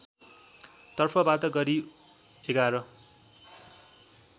तर्फबाट गरी ११